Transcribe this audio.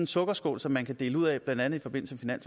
sukkerskål som man kan dele ud af blandt andet i forbindelse med